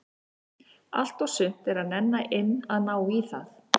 Allt og sumt er að nenna inn að ná í það.